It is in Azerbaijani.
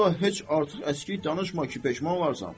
Vallah heç artıq əskiy danışma ki, peşman olarsan.